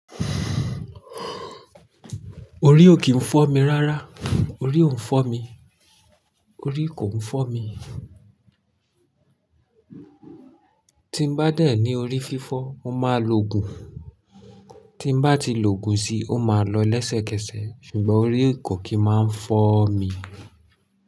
Orí ò kí ń fọ́ mi rárá, orí ò ń fọ́ mi, orí kò ń fọ́ mi. Tí n bá dẹ̀ ní orí fífọ́, mó máa lo òògùn, tí n bá ti lo òògùn si, ó máa lọ lẹ́sẹ̀kẹsẹ̀, ṣùgbọ́n orí ko kí máa ń fọ́ mi.